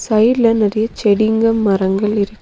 சைடுல நெறைய செடிங்க மரங்கள் இருக்கு.